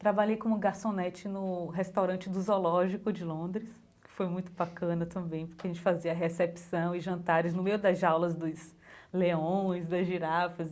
Trabalhei como garçonete no restaurante do zoológico de Londres, que foi muito bacana também, porque a gente fazia recepção e jantares no meio das jaulas dos leões, das girafas.